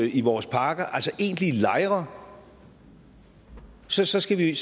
i vores parker egentlige lejre så så skal vi